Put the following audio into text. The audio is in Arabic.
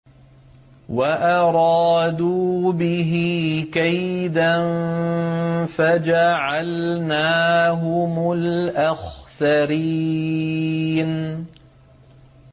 وَأَرَادُوا بِهِ كَيْدًا فَجَعَلْنَاهُمُ الْأَخْسَرِينَ